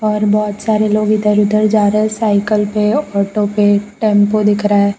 और बहोत सारे लोग इधर उधर जा रहे है साइकिल पे ऑटो पे टेम्पो दिख रहा है।